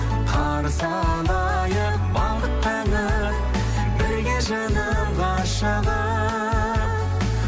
қарсы алайық бақыт таңын бірге жаным ғашығым